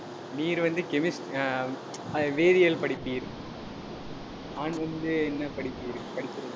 நீர் வந்து chemis~ ஆஹ் வேதியியல் படிப்பீர் நான் வந்து என்ன படிப்பீர் படிக்கிறது